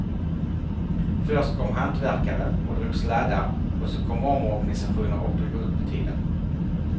Först kom hantverkare och drog sladdar och så kom omorganisationer och drog ut på tiden.